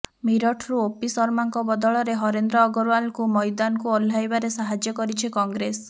ମିରଠରୁ ଓପି ଶର୍ମାଙ୍କ ବଦଳରେ ହରେନ୍ଦ୍ର ଅଗ୍ରୱାଲଙ୍କୁ ମଇଦାନକୁ ଓହ୍ଲାଇବାରେ ସାହାଯ୍ୟ କରିଛି କଂଗ୍ରେସ